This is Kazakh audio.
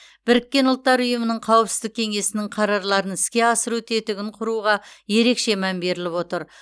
біріккен ұлттар ұйымының қауіпсіздік кеңесінің қарарларын іске асыру тетігін құруға ерекше мән беріліп отыр